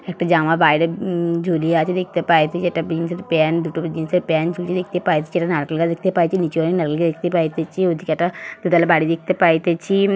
একটা জামা বাইরে উম- ঝুলিয়ে আছে দেখতে পাইতেছি দু চারটা জিন্স এর প্যান্ট ঝুলছে দেখতে পাইতেছি নারকেল গাছ দেখতে পাইতেছি নীচে নারকেল গাছ দেখতে পাইতেছি ওই দিকে একটা দু তোলা বাড়ি দেখতে পাইতেছি--